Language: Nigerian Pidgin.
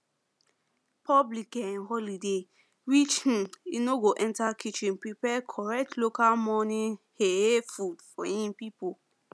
public um holiday reach um e no go enter kitchen prepare correct local morning um food for him people